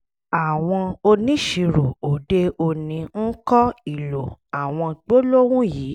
àwọn oníṣirò òde òní ń kọ́ ìlò àwọn gbólóhùn yìí